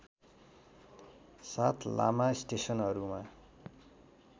साथ लामा स्टेसनहरूमा